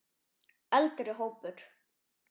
Eldri hópur